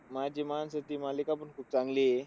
माझी माणसं, ती मालिका पण खूप चांगली आहे.